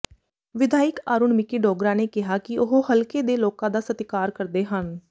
ਵਿਧਾਇਕ ਅਰੁਣ ਮਿਕੀ ਡੋਗਰਾ ਨੇ ਕਿਹਾ ਕਿ ਉਹ ਹਲਕੇ ਦੇ ਲੋਕਾਂ ਦਾ ਸਤਿਕਾਰ ਕਰਦੇ ਹਨ